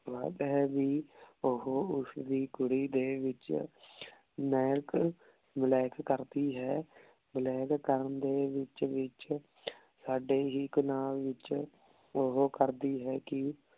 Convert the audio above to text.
ਗਲ ਹੈ ਜੀ ਓਹੋ ਓਸਦੀ ਕੁਰੀ ਦੇ ਵਿਚ ਨਾਇਕ ਨਾਲਾਇਕ ਕਰਦੀ ਹੈ ਨਾਲਾਇਕ ਕਰਨ ਦੇ ਵਿਚ ਵਿਚ ਸਾਡੇ ਹੀ ਗੁਨਾਹ ਵਿਚ ਓਹੋ ਕਰਦੀ ਹੈ ਕੀ